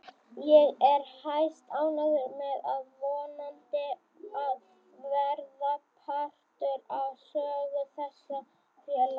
Ég er hæstánægður með að vonandi að verða partur af sögu þessa félags.